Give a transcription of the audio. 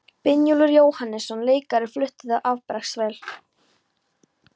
Brynjólfur Jóhannesson leikari flutti þá afbragðsvel.